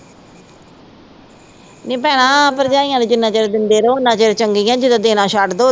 ਨੀ ਭੈਣਾਂ ਭਰਜਾਈਆਂ ਨੂੰ ਜਿਨਾ ਚਿਰ ਦਿੰਦੇ ਰਹੋ, ਓਨਾ ਚਿਰ ਚੰਗੀਆਂ ਜਦੋ ਦੇਣਾ ਛੱਡਦੋ